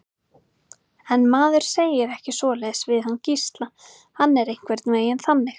En maður segir ekki svoleiðis við hann Gísla, hann er einhvern veginn þannig.